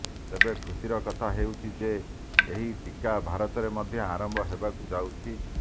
ତେବେ ଖୁସିର କଥା ହେଉଛି ଯେ ଏହି ଟିକା ଭାରତରେ ମଧ୍ୟ ଆରମ୍ଭ ହେବାକୁ ଯାଉଛି